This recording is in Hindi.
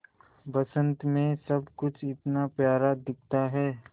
बसंत मे सब कुछ इतना प्यारा दिखता है